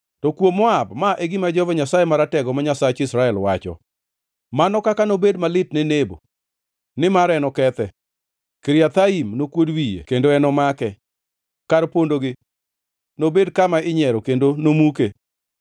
To kuom Moab: Ma e gima Jehova Nyasaye Maratego, ma Nyasach Israel wacho: “Mano kaka nobed malit ne Nebo, nimar enokethe. Kiriathaim nokuod wiye kendo enomake; kar pondogi nobed kama inyiero kendo nomuke.